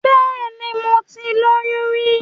Bẹ́ẹ̀ni, mo ti lóyún rí.